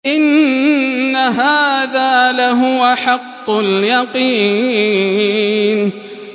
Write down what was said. إِنَّ هَٰذَا لَهُوَ حَقُّ الْيَقِينِ